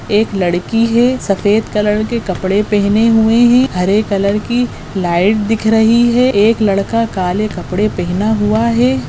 एक लड़की है सफेद कलर के कपड़े पहने हुए हैं हरे कलर की लाइट दिख रही है एक लड़का काले कपड़े पहना हुआ है।